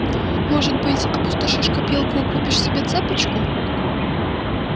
может быть опустошишь копилку и купишь себе цепочку